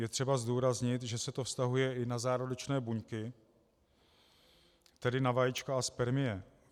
Je třeba zdůraznit, že se to vztahuje i na zárodečné buňky, tedy na vajíčka a spermie.